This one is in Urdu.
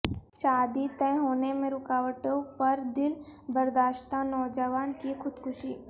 شادی طئے ہونے میں رکاوٹوں پر دل برداشتہ نوجوان کی خودکشی